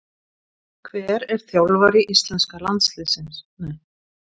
Hver er þjálfari íslenska kvennalandsliðsins?